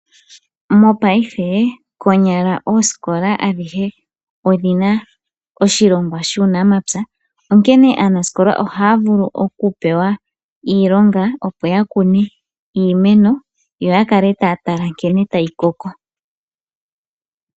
Mopaife, konyala ooskola adhihe odhi na oshilongwa shUunamapya, onkene aanaskola ohaa vulu okupewa iilonga opo ya kune iimeno yo ya kale taya tala nkene tayi koko.